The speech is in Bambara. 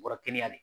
Kɔrɔ kɛnɛya de